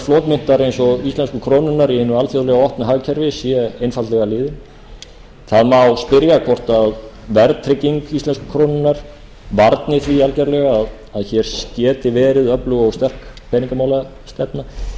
flotmyntar eins og íslensku krónunnar í hinu alþjóðlega opna hagkerfi sé einfaldlega liðinn það má spyrja hvort verðtrygging íslensku krónunnar varni því algerlega að hér geti verið öflug og sterk peningamálastefna